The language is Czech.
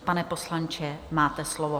Pane poslanče, máte slovo.